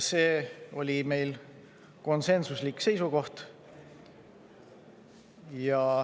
See oli meil konsensuslik seisukoht.